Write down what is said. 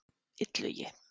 Illugi